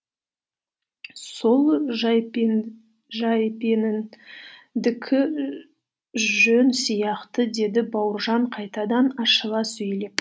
сол жайпеніндікі жөн сияқты деді бауыржан қайтадан ашыла сөйлеп